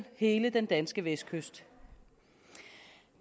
hele den danske vestkyst